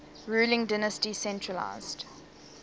ruling dynasty centralised